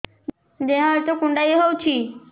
ଦେହ ହାତ କୁଣ୍ଡାଇ ହଉଛି